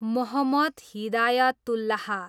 Mohammad Hidayatullah